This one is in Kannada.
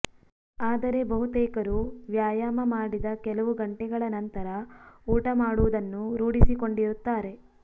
ಆದರೆ ಬಹುತೇಕರು ವ್ಯಾಯಾಮ ಮಾಡಿದ ಕೆಲವು ಗಂಟೆಗಳ ನಂತರ ಊಟ ಮಾಡುವುದನ್ನು ರೂಢಿಸಿಕೊಂಡಿರುತ್ತಾರೆ